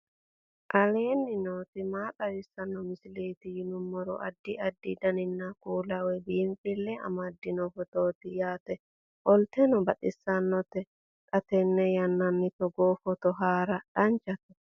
aleenni nooti maa xawisanno misileeti yinummoro addi addi dananna kuula woy biinfille amaddino footooti yaate qoltenno baxissannote xa tenne yannanni togoo footo haara danchate